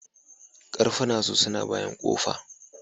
Karfuna su na bayan kofa.